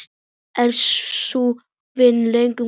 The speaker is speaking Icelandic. Er sú vinna langt komin.